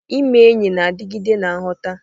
Ime enyi na-adigide na nghọta.